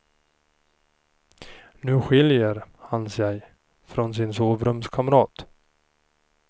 Nu skiljer han sig från sin sovrumskamrat.